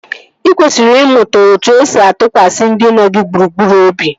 Ị kwesịrị ịmụta etu-esi atụkwasị ndị nọ gị gburugburu obi